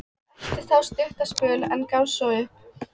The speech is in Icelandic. Hann elti þá stuttan spöl, en gafst svo upp.